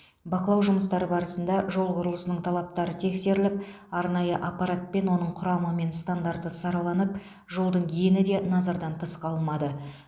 бақылау жұмыстары барысында жол құрылысының талаптары тексеріліп арнайы аппаратпен оның құрамы мен стандарты сараланып жолдың ені де назардан тыс қалмады